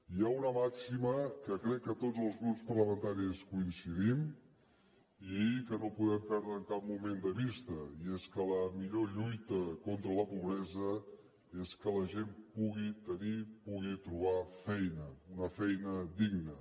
hi ha una màxima que crec que tots els grups parlamentaris hi coincidim i que no podem perdre en cap moment de vista i és que la millor lluita contra la pobresa és que la gent pugui tenir pugui trobar feina una feina digna